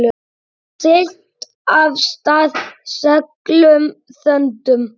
Siglt af stað seglum þöndum.